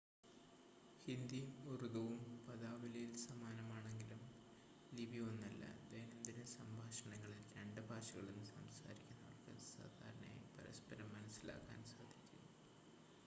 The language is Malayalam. ഹിന്ദിയും ഉറുദുവും പദാവലിയിൽ സമാനമാണെങ്കിലും ലിപി ഒന്നല്ല ദൈനംദിന സംഭാഷണങ്ങളിൽ രണ്ട് ഭാഷകളും സംസാരിക്കുന്നവർക്ക് സാധാരണയായി പരസ്പരം മനസ്സിലാക്കാൻ സാധിക്കും